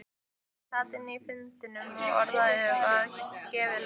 Ég sat inni á fundinum og orðið var gefið laust.